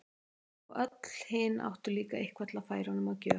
Og öll hin áttu líka eitthvað til að færa honum að gjöf.